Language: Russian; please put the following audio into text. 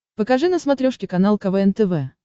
покажи на смотрешке канал квн тв